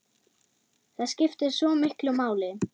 Það skiptir svo miklu máli.